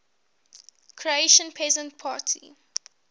croatian peasant party